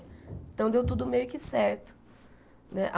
Então, deu tudo meio que certo né.